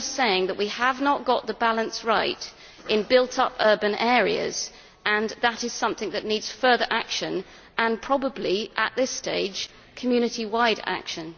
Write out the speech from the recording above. I am just saying that we have not got the balance right in built-up urban areas and that is something that needs further action and, probably at this stage, Community-wide action.